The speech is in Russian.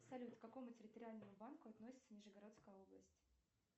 салют к какому территориальному банку относится нижегородская область